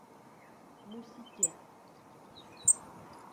мусике